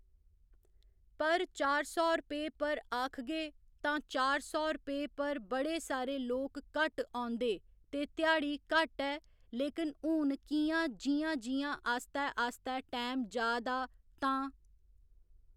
पर चार सौ रपेऽ पर आखगे तां चार सौ रपेऽ पर बड़े सारे लोक घट्ट औंदे ते ध्याड़ी घट्ट ऐ लेकिन हू'न कि'यां जि'यां जि'यां आस्तै आस्तै टाईम जा दा तां